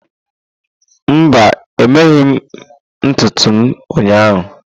Mba, emeghị m ntutu m ụnyahụ.